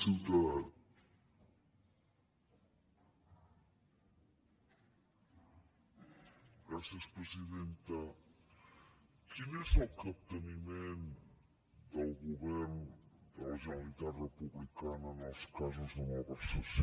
quin és el capteniment del govern de la generalitat republicana en els casos de malversació